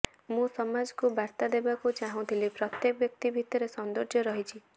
ମୁଁ ସମାଜକୁ ବାର୍ତ୍ତା ଦେବାକୁ ଚାହୁଁଥିଲି ପ୍ରତ୍ୟେକ ବ୍ୟକ୍ତି ଭିତରେ ସୌନ୍ଦର୍ଯ୍ୟ ରହିଛି